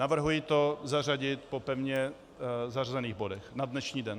Navrhuji to zařadit po pevně zařazených bodech na dnešní den.